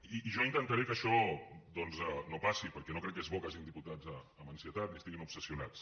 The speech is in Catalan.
i jo intentaré que això doncs no passi perquè no crec que sigui bo que hi hagin diputats amb ansietat ni que estiguin obsessionats